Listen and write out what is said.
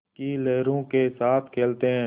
की लहरों के साथ खेलते हैं